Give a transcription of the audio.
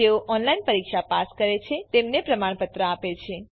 જેઓ ઓનલાઇન પરીક્ષા પાસ કરે છે તેમને પ્રમાણપત્ર આપે છે